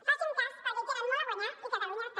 facin me cas perquè hi tenen molt a guanyar i catalunya també